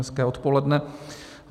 Hezké odpoledne.